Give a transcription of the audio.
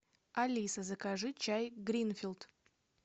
алиса закажи чай гринфилд